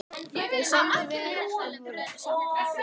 Þeim samdi vel en voru samt ekki nánar.